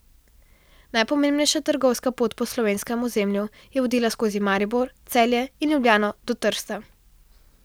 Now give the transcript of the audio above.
Najpomembnejša trgovska pot po slovenskem ozemlju je vodila skozi Maribor, Celje in Ljubljano do Trsta.